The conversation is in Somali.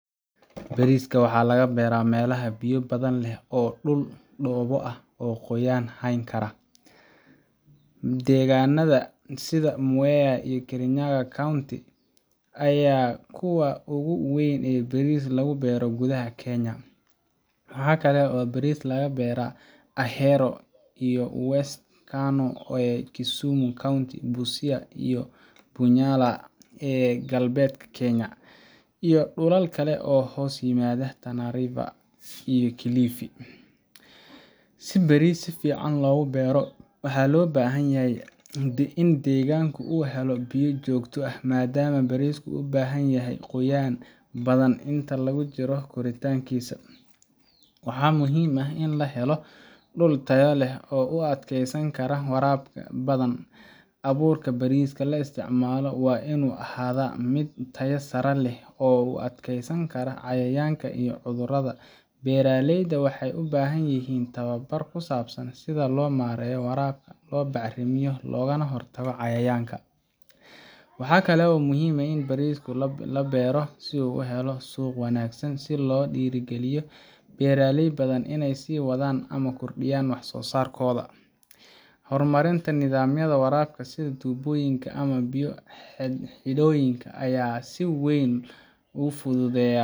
Bariska waxaa laga beeraa meelaha biyo badan leh oo leh dhul dhoobo ah oo qoyaan hayn kara. Deegaanada sida Mwea ee Kirinyaga County ayaa ah kuwa ugu weyn ee baris lagu beero gudaha Kenya. Waxa kale oo baris laga beeraa Ahero iyo West Kano ee Kisumu County, Busia iyo Bunyala ee galbeedka Kenya, iyo dhulal kale oo hoos yimaada Tana River iyo Kilifi. Si baris si fiican loogu beero, waxaa loo baahan yahay in deegaanka uu helo biyo joogto ah, maadaama barisku u baahan yahay qoyaan badan inta lagu jiro koritaankiisa. Waxaa muhiim ah in la helo dhul tayo leh oo u adkeysan kara waraabka badan. Abuurka bariska la isticmaalo waa inuu ahaadaa mid tayo sare leh oo u adkeysan kara cayayaanka iyo cudurrada. Beeraleyda waxay u baahan yihiin tababar ku saabsan sida loo maareeyo waraabka, loo bacrimiyo, loogana hortago cayayaanka. Waxa kale oo muhiim ah in bariskii la beero uu helo suuq wanaagsan si loo dhiirrigeliyo beeraley badan inay sii wadaan ama kordhiyaan wax-soo-saarkooda. Horumarinta nidaamyada waraabka sida tuubooyin ama biyo-xidheenyo ayaa si weyn u fududeeya